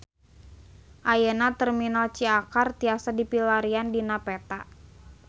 Ayeuna Terminal Ciakar tiasa dipilarian dina peta